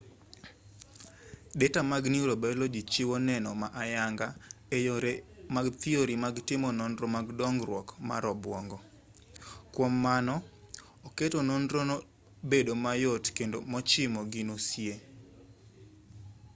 deta mag neurobaoloji chiwo neno ma ayanga e yore mag thiori mag timo nonro mag dongruok mar obuongo kwom mano oketo nonro no bedo mayot kendo mochimo gino sie